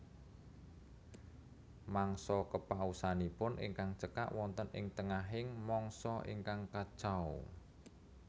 Mangsa kepausanipun ingkang cekak wonten ing tengahing mangsa ingkang kacau